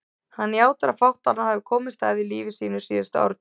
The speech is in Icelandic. Hann játar að fátt annað hafi komist að í lífi sínu síðustu áratugi.